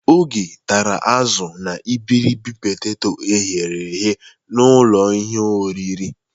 Ogechi tara azụ na iberibe peteto eghere eghe n'ụlọ ihe oriri.